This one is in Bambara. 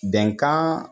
Bɛnkan